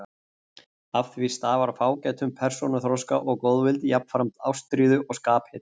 Af því stafar fágætum persónuþroska og góðvild, jafnframt ástríðu og skaphita.